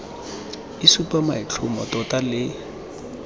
e supa maitlhomo tota le